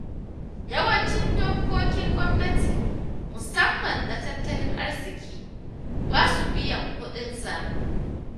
Yawancin dokkokin gwamnati, musamman na tattalin arziki, ba su biyan kuɗin sabulu.